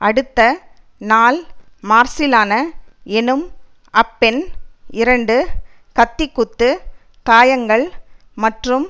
அடுத்த நாள் மார்சிலானா எனும் அப்பெண் இரண்டு கத்திக்குத்துக் காயங்கள் மற்றும்